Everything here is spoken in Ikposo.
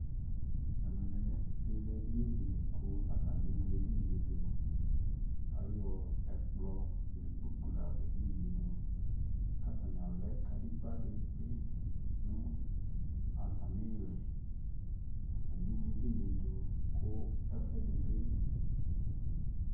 ɛmɛ bilɛ ɛdini dili kʋ atani ɛwlɛ ɛdiniɛ dʋ kʋ ayɔ ɛkplɔ nʋ ikpɔkʋ layɔ wlɛ ɛdiniɛ dʋ kʋ atani alɛ kadigba dibi nʋ atami ili, atani ɛwlɛ ɛdiniɛ dʋ kʋ ɛƒʋɛdi bi